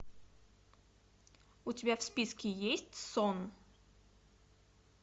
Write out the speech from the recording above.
у тебя в списке есть сон